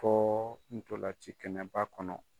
Fɔɔ ntolan ci kɛnɛba kɔnɔ.